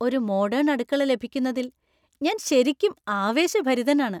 ഒരു മോഡേൺ അടുക്കള ലഭിക്കുന്നതിൽ ഞാൻ ശരിക്കും ആവേശഭരിതനാണ്.